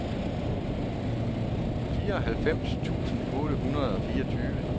fireoghalvfems tusind otte hundrede og fireogtyve